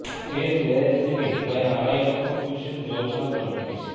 ফের ব্যারেজ থেকে প্রায় আড়াই লক্ষ কিউসেক জল ছাড়ল ডিভিসি